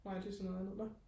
nå nej det er så noget andet nå